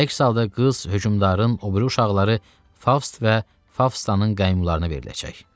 Əks halda qız hökümdarın o biri uşaqları Faust və Faustanın qaymuralarına veriləcək.